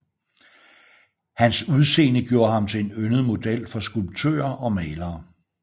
Hans udseende gjorde ham til en yndet model for skulptører og malere